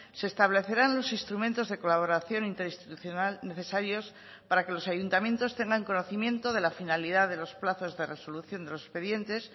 se establecerán los instrumentos de colaboración interinstitucional necesarios para que los ayuntamientos tengan conocimiento de la finalidad de los plazos de resolución de los expedientes